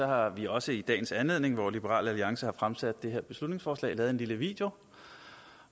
har vi også i dagens anledning hvor liberal alliance har fremsat det her beslutningsforslag lavet en lille video